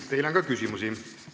Teile on ka küsimusi.